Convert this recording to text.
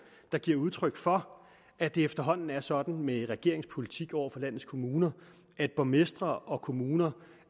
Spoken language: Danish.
der giver udtryk for at det efterhånden er sådan med regeringens politik over for landets kommuner at borgmestre og kommuner